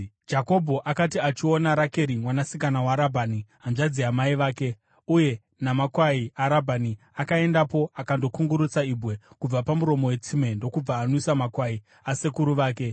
Jakobho akati achiona Rakeri mwanasikana waRabhani, hanzvadzi yamai vake, uye namakwai aRabhani, akaendapo akandokungurutsa ibwe kubva pamuromo wetsime ndokubva anwisa makwai asekuru vake.